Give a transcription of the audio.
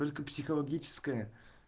только психологическая